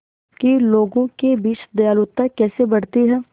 कि लोगों के बीच दयालुता कैसे बढ़ती है